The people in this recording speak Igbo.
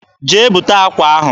Jee bute akwa ahụ.